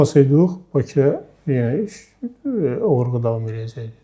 Tutulmasaydıq Bakıya yenə iş oğurluq davam eləyəcəyidir.